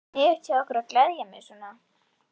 Sniðugt hjá ykkur að gleðja mig svona.